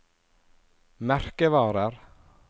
merkevarer